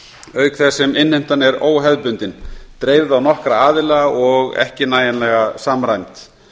auk þess sem innheimtan er óhefðbundin dreifð á nokkra aðila og ekki nægilega samræmd